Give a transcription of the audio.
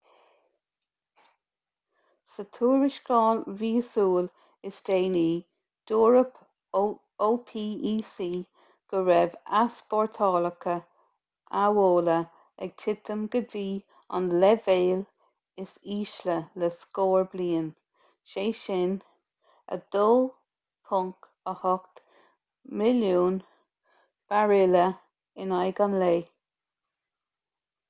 sa tuarascáil mhíosúil is déanaí dúirt opec go raibh easpórtálacha amhola ag titim go dtí an leibhéal is ísle le scór bliain sé sin 2.8 milliún bairille in aghaidh an lae